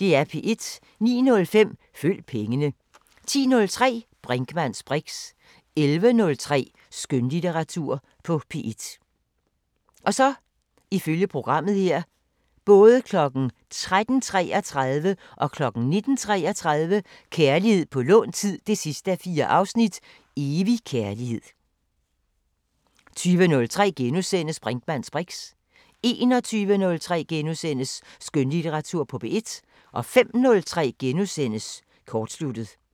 09:05: Følg pengene 10:03: Brinkmanns briks 11:03: Skønlitteratur på P1 13:33: Kærlighed på lånt tid 4:4 – Evig kærlighed 19:33: Kærlighed på lånt tid 4:4 – Evig kærlighed 20:03: Brinkmanns briks * 21:03: Skønlitteratur på P1 * 05:03: Kortsluttet *